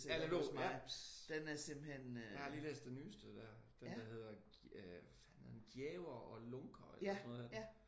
Erlend Loe? Ja jeg har lige læst den nyeste der. Den der hedder øh hvad fanden er det nu Gjæver og Lunker eller sådan noget hedder den